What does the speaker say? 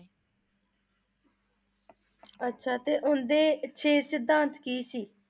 ਅੱਛਾ ਤੇ ਉਨ੍ਹਾਂ ਦੇ ਛੇ ਸਿਧਾਂਤ ਕੀ ਸੀ?